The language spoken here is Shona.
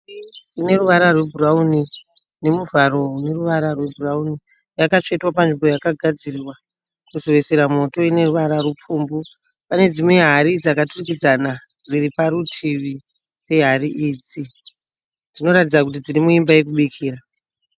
Ineruvara rwebhurawuni nemuvharo une ruvara rwebhurawuni yakatsvetwa panzvimbo yakagadzirwa kuzoisira moto ine ruvara rupfumbu, pane dzimwe hari dzakaturikidzana dziri parutivi pehari idzi dzinoratidza kuti dziri muimba yekubikira.